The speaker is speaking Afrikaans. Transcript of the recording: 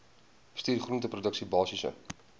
bestuur groenteproduksie basiese